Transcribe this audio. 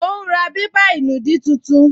Ó ún ra bébà ìnùdí tuntun